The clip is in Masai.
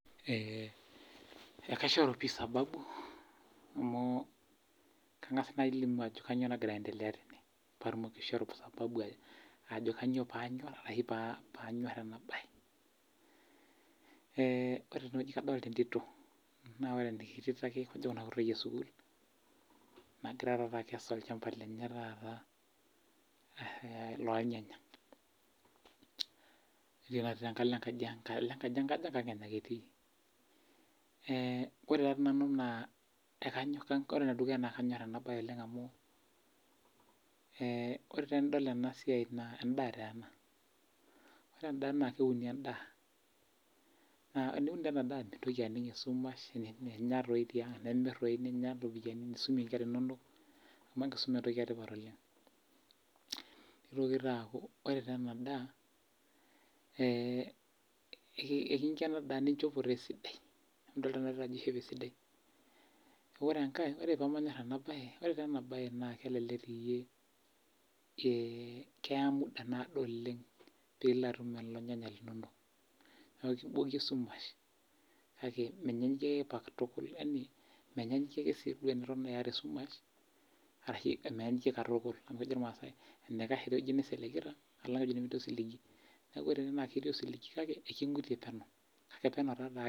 Kaishoru pii sababu amu kanga's alimu ajo kainyoo nagira aiendelea tene patumoki aishoru sababu ajo kainyoo panyor arashu panyor ena baye. Ore teneweji naa kadolita entito, naa ena tito na kajo ake kuna kutiti toyie ee sukul nagira taata akesu olchamba lenye taata loo irnyanya. Etii enkalo enkaji kajo keng'an enye etii oree taa nanu naa ekanyor ena baye oleng' amu ore tenidol ena siai naa edaa taa ena. Ore edaa na keuni taa edaa. Teniun taa ena daa mintoki aning' esumash inyaa doii taing' nimir ninya iropiani nisumie inkera inonok amu enkisuma entoki etipat oleng' . Nitoki taa aku ore taa ena daa nincho inchopo esidai. Idol taa ajo ore ena tito ishope esidai. Ore enkae ore pemanyor ena bae ore enabae kelelek tii iyie keya muda naado oleng' pilo atum irnyanya linonok. Kiboki esumash yaani menyanyukie sii duo teniton iyata esumash arashu menyanyukie katukul amu ejo irmasae enikash eweji nisiligita alang' enemeetii osiligi neeku ore ene keeti osiligi kake ikigutue peno kake peno taake.